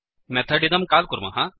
method इदं काल् कुर्मः